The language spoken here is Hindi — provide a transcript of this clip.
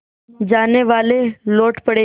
जानेवाले लौट पड़े